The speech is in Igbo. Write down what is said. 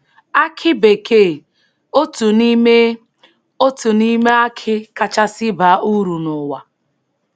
Akị bekee — otu n’ime — otu n’ime akị kachasị baa uru n’ụwa.